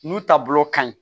N'u taabolo ka ɲi